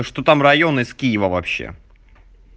что там район из киева вообще